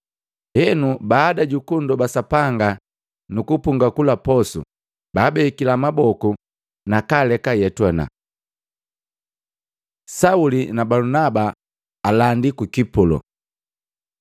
Henu, baada juku nndoba Sapanga nuku punga kula posu, baabekila maboku, nakaaleka ayetuana. Sauli na Balunaba alandi ku Kipulo